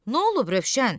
Nolub, Rövşən?